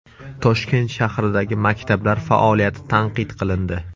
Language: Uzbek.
Toshkent shahridagi maktablar faoliyati tanqid qilindi.